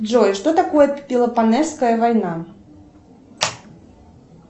джой что такое пелопонесская война